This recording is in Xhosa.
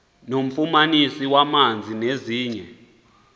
nofumaniso lwamanzi nezinye